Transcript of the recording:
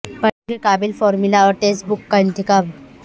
پڑھنے کے قابل فارمولا اور ٹیکسٹ بکس کا انتخاب